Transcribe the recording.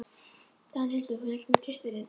Danhildur, hvenær kemur tvisturinn?